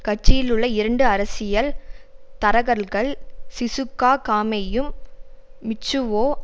கட்சியிலுள்ள இரண்டு அரசியல் தரகர்கள் சிசுகா காமேயும் மிட்சுவோ